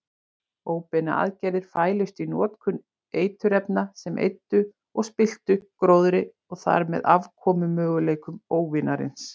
Óbeinar aðgerðir fælust í notkun eiturefna sem eyddu og spilltu gróðri og þarmeð afkomumöguleikum óvinarins.